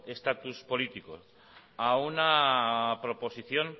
estatus político a una proposición